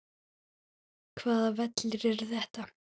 Hvaða vellir eru þetta?